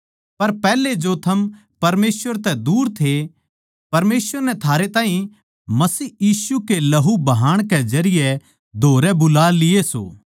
पर पैहले जो थम परमेसवर तै दूर थे परमेसवर नै थारे ताहीं मसीह यीशु के लहू बहान के जरिये थम धोरै बुला लिये सों